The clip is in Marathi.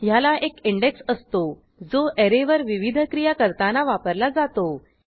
ह्याला एक इंडेक्स असतो जो ऍरेवर विविध क्रिया करताना वापरला जातो